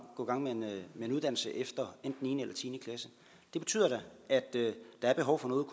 med en uddannelse efter enten niende eller tiende klasse det betyder da at der er behov for noget